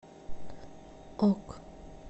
ок